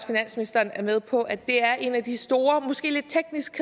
finansministeren er med på at det er en af de store måske lidt tekniske